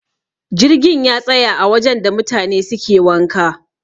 jirgin ya tsaya a wajen da mutane suke wanka